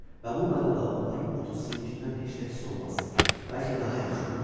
Və bu mənada onların otu sizinkindən heç də pis olmaz, bəlkə daha yaxşı olar.